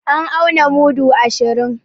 An auna mudu ashirin